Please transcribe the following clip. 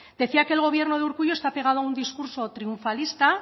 decía que el gobierno de urkullu está pegado a un discurso triunfalista